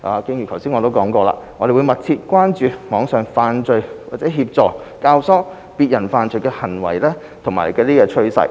正如剛才所說，我們會密切注意網上犯罪或協助、教唆別人犯罪的行為和趨勢。